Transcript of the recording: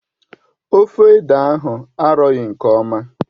Ofe ede ahụ arọghị nke ọma